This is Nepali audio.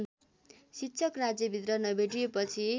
शिक्षक राज्यभित्र नभेटिएपछि